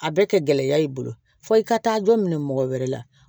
A bɛ kɛ gɛlɛya y'i bolo fo i ka taa dɔ minɛ mɔgɔ wɛrɛ la